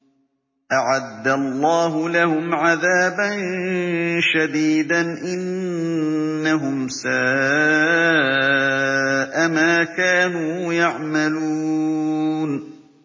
أَعَدَّ اللَّهُ لَهُمْ عَذَابًا شَدِيدًا ۖ إِنَّهُمْ سَاءَ مَا كَانُوا يَعْمَلُونَ